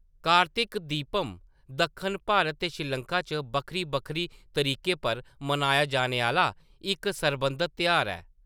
कार्तिक दीपम दक्खन भारत ते श्रीलंका च बक्खरी-बक्खरी तरीकें पर मनाया जाने आह्‌‌‌ला इक सरबंधत तेहार ऐ।